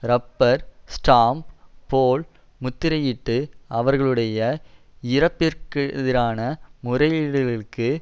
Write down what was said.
rubber stamp போல் முத்திரையிட்டு அவர்களுடைய இறப்பிற்கெதிரான முறையீடுகளுக்கு